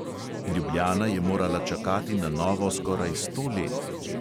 Ljubljana je morala čakati na novo skoraj sto let.